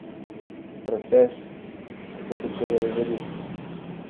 Proces, kako se čevelj rodi?